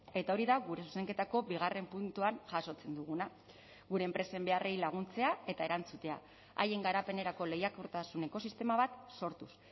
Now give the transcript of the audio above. eta hori da gure zuzenketako bigarren puntuan jasotzen duguna gure enpresen beharrei laguntzea eta erantzutea haien garapenerako lehiakortasun ekosistema bat sortuz